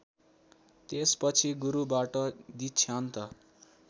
त्यसपछि गुरुबाट दीक्षान्त